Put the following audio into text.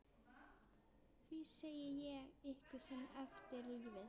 Því segi ég ykkur sem eftir lifið.